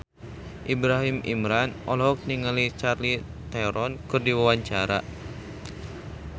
Ibrahim Imran olohok ningali Charlize Theron keur diwawancara